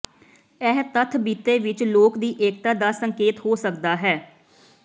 ਇਹ ਤੱਥ ਬੀਤੇ ਵਿੱਚ ਲੋਕ ਦੀ ਏਕਤਾ ਦਾ ਸੰਕੇਤ ਹੋ ਸਕਦਾ ਹੈ